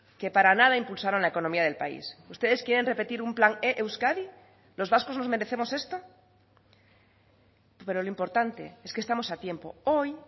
que para nada impulsaron la economía del país ustedes quieren repetir un plan e euskadi los vascos nos merecemos esto pero lo importante es que estamos a tiempo hoy